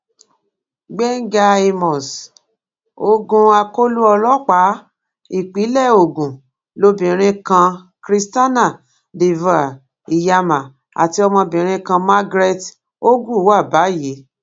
gbẹngà àmos ogun akọlọ ọlọpàá ìpínlẹ ogun lobìnrin kan christiana divoire iyama àti ọmọbìnrin kan margaret ogwu wà báyìí